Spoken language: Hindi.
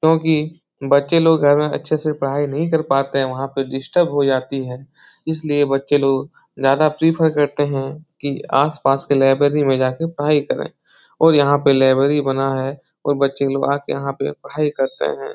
क्योंकि बच्चे लोग घर में अच्छे से पढ़ाई नहीं कर पाते हैं वहाँ पे डिस्टर्ब हो जाती है इसलिए बच्चे लोग ज्यादा प्रीफर करते हैं कि आसपास के लाइब्रेरी में जा के पढ़ाई करें और यहाँ पे लाइब्रेरी बना है और बच्चे लोग आ के यहाँ पे पढ़ाई करते हैं।